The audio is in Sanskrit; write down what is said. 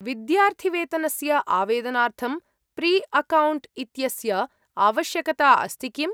विद्यार्थिवेतनस्य आवेदनार्थं प्रीअकौण्ट् इत्यस्य आवश्यकता अस्ति किम्‌?